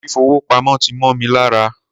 Fífi owó pamo ti mó mi ní ara.